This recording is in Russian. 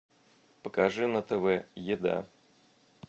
покажи на тв еда